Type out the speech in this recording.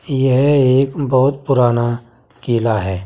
यह एक बहुत पुराना किला है।